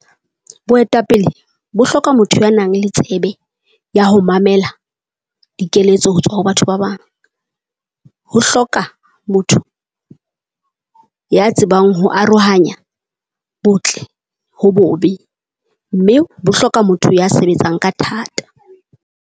Boetapele bo hloka motho ya nang le tsebe ya ho mamela dikeletso ho tswa ho batho ba bang. Ho hloka motho ya tsebang ho arohanya botle ho bobe mme bo hloka motho ya sebetsang ka thata.